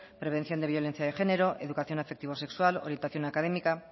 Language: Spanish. prevención de violencia de género educación afectivo sexual orientación académica